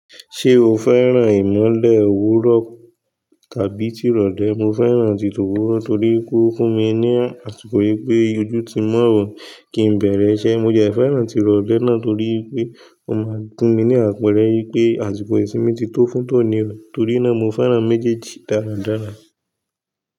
Ṣé o fẹ́ràn ìmọ́lẹ̀ òwúrọ̀ tàbí tirọ̀lẹ́? Mo fẹ́ràn títọ́ òwúrọ̀ torí pé ó n funmi ní àtìkò pé ojú ti mọ́ òoo, kí n bẹ̀rẹ̀ iṣẹ́. Mo dẹ̀ fẹ́ràn tirọ̀lẹ́ náà torí pé ó máa ń fún mi ní àpẹẹrẹ yí pé àtìkò ìsimi ti tó fún tònírò, torí náà mo fẹ́ràn méjèèjì dáradára.